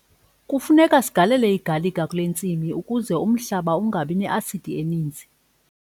Kufuneka sigalele igalika kule ntsimi ukuze umhlaba ungabi ne-asidi eninzi.